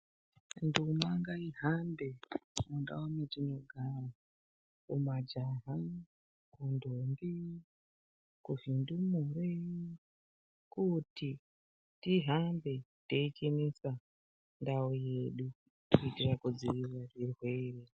Nduma ngaihambe mundau mwatinogara umu, majaha, ndombi kuzvindumure kuti tihambe teichenesa ndau yedu kuitira kudzivirira zvirwere.